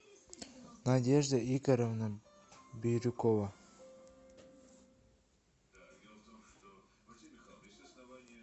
надежда игоревна бирюкова